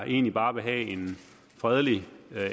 egentlig bare vil have en fredelig